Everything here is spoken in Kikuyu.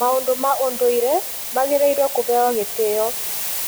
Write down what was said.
Maũndũ ma ũndũire magĩrĩirwo kũheo gĩtĩo